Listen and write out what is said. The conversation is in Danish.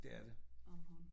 Det er det